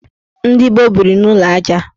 Ndị gboo biri n' ụlọ aja.